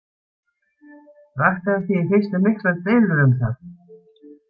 Vakti hann því í fyrstu miklar deilur um það.